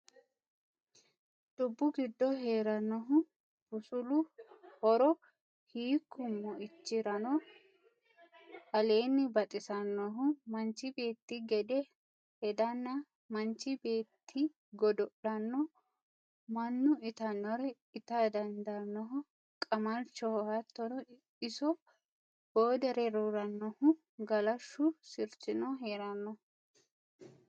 Dubbu giddo heeranohu busulu horo hiikku moichirano aleeni baxisanohu manchi beetti gede hedanna manchi beetti godo'lano mannnu ittanore itta dandaanoho Qamalchoho hattono iso boodere rooranohu Galashu sirchino heerenno.